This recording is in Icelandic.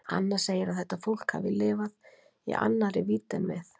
Anna segir að þetta fólk hafi lifað í annarri vídd en við.